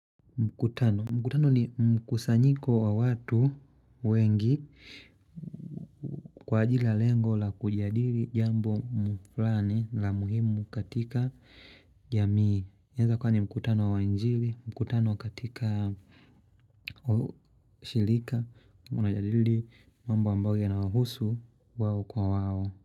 Mkutano. Mkutano ni mkusanyiko wa watu wengi kwa ajili ya lengo la kujadili jambo fulani la muhimu katika jamii. Inaeza kuwa ni mkutano wa injili, mkutano katika ushirika, unajadili mambo ambayo yanawahusu wao kwa wao.